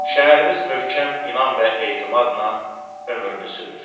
Şəhərimiz möhkəm inan və etimadla ömrünü sürür.